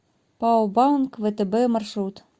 пао банк втб маршрут